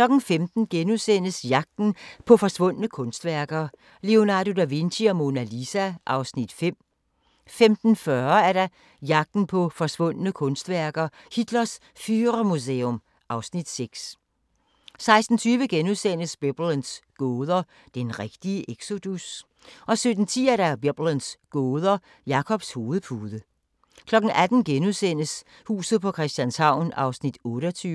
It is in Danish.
15:00: Jagten på forsvundne kunstværker - Leonardo da Vinci og Mona Lisa (Afs. 5)* 15:40: Jagten på forsvundne kunstværker: Hitlers Führermuseum (Afs. 6) 16:20: Biblens gåder – den rigtige exodus? * 17:10: Biblens gåder – Jakobs hovedpude 18:00: Huset på Christianshavn (28:84)*